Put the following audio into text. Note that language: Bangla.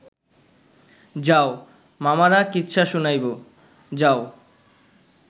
যাও, মামারা কিচ্ছা শুনাইব, যাও